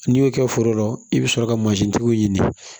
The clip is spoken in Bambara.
N'i y'o kɛ foro la i bɛ sɔrɔ ka mansintigiw ɲini